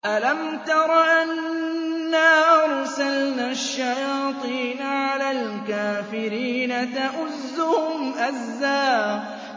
أَلَمْ تَرَ أَنَّا أَرْسَلْنَا الشَّيَاطِينَ عَلَى الْكَافِرِينَ تَؤُزُّهُمْ أَزًّا